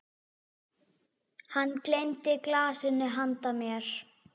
Hann gleymdi glasinu handa mér.